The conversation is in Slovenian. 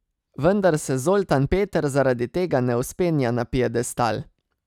Vendar se Zoltan Peter zaradi tega ne vzpenja na piedestal.